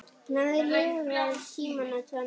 Hann hafði lifað tímana tvenna.